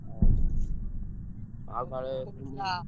ଓହୋ। ଆଉ କାଳେ ।